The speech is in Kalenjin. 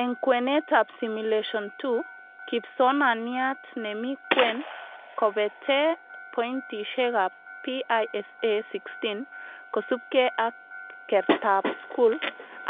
Eng kwenetab Simulation 2,kipsonaniat nemi kwen kobetee pointishekab PISA 16 kosubke ak kertaab skul,